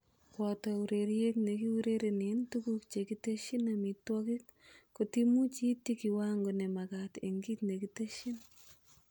Boto ureriet nekiurerenen tuguk chekitesyin amitwogik kotimuch iityi kiwango nemagat en kit nekitesyin.